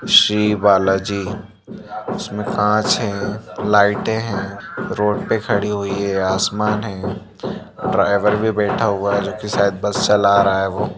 श्री बालाजी इसमें कांच है लाइटे हैं रोड पे खड़ी हुई है आसमान है ड्राइवर भी बैठा हुआ है जो की शायद बस चल रहा है।